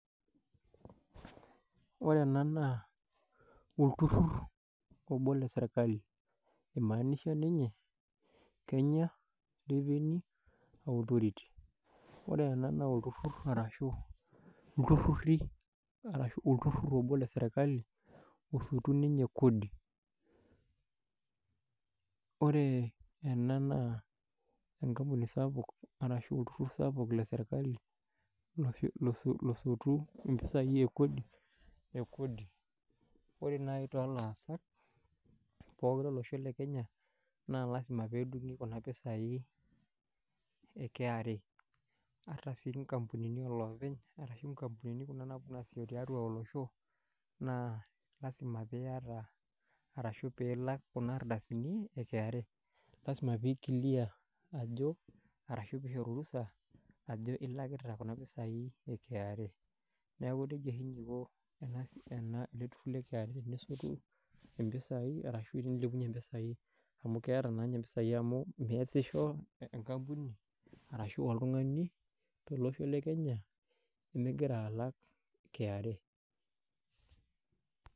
Wore ena naa olturrur obo leserkali, oimaanisha ninye Kenya Revenue Authority. Wore ena naa olturrur arashu ilturriri arashu olturrur obo leserkali, osotu ninye kodi. Wore ena naa enkampuni sapuk arashu olturrur sapuk leserkali losotu impisai e kodi. Wore naai tolaasak pokin lolosho lekenya, naa lasima peedungi kuna pisai e kra. Ata sii inkampunini oloopeny, arashu inkampunini kuna naaponu aasisho tiatua olosho, naa lasima pee iyata arashu pee ilak kuna ardasini e kra. Lasima pee i clear ajo, arashu pee ishori orusa, ajo ilakita kuna pisai e kra. Neeku nejia oshi ninye iko ele turrur le kra tenesotu impisai arashu tenilepunye impisai. Amu keeta naa ninye impisai amu measisho enkampuni arashu oltungani tolosho le Kenya, migira alak kra.